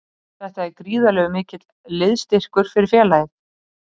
Þetta er gríðarlega mikill liðsstyrkur fyrir félagið.